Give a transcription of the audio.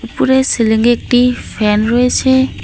উপরে সিলিংয়ে একটি ফ্যান রয়েছে।